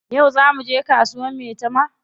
Yau zaa muje kasuwar maitama?